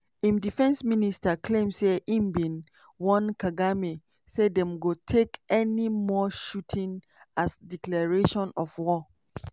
im defence minister claim say im bin warn kagame say dem go take any more shooting as declaration of war.